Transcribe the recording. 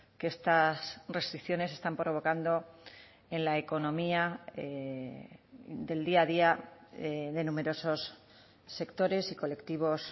que estas restricciones están provocando en la economía del día a día de numerosos sectores y colectivos